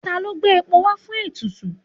Ta ló gbé epo wá fún ètùtù?